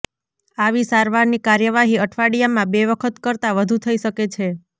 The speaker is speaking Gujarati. આવી સારવારની કાર્યવાહી અઠવાડિયામાં બે વખત કરતાં વધુ થઈ શકે છે